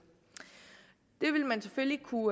det ville man selvfølgelig kunne